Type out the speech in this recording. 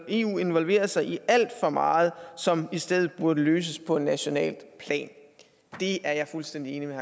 eu involverer sig alt for meget som i stedet burde løses på nationalt plan det er jeg fuldstændig enig med